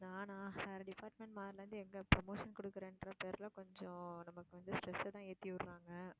நானா வேற department மாறுனதிலிருந்து எங்க promotion கொடுக்கிறேன் என்ற பேர்ல கொஞ்சம் நமக்கு வந்து stress அ தான் விடறாங்க.